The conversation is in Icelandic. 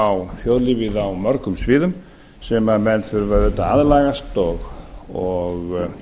á þjóðlífið á mörgum sviðum sem menn þurfa auðvitað að aðlagast og